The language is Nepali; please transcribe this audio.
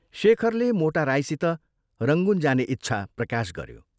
शेखरले मोटा राईसित रंगून जाने इच्छा प्रकाश गऱ्यो।